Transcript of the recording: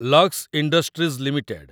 Lux industries limited